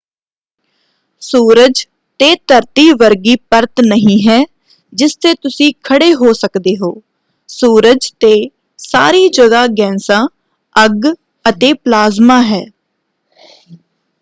ਸੂਰਜ ਤੇ ਧਰਤੀ ਵਰਗੀ ਪਰਤ ਨਹੀਂ ਹੈ ਜਿਸ ਤੇ ਤੁਸੀਂ ਖੜੇ ਹੋ ਸਕਦੇ ਹੋ। ਸੂਰਜ ਤੇ ਸਾਰੀ ਜਗ੍ਹਾਂ ਗੈਸਾਂ ਅੱਗ ਅਤੇ ਪਲਾਜ਼ਮਾ ਹੈ।